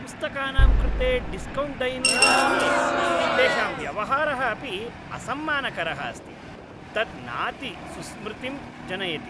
पुस्तकानां कृते डिस्कौण्ट् दयनीयम् अस्ति, तेषां व्यवहारः अपि असम्मानकरः अस्ति। तत् नाति सुस्मृतिं जनयति।